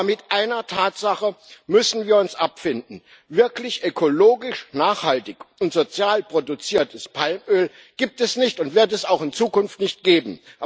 Aber mit einer Tatsache müssen wir uns abfinden Wirklich ökologisch nachhaltig und sozial produziertes Palmöl gibt es nicht und wird es auch in Zukunft nicht geben.